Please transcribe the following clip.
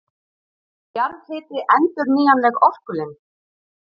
Er jarðhiti endurnýjanleg orkulind?